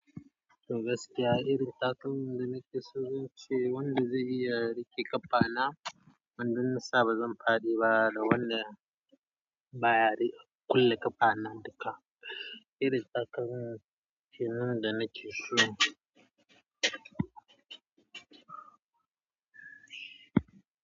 Toh gaskiya irin takalman da nake so shi ne wanda zai iya riƙe ƙafa na. Wannan nasa bazan faɗi ba da wanda baya riƙe kulle ƙafa na duka. Irin takalmin da nake so.